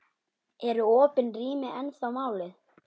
Eru opin rými ennþá málið?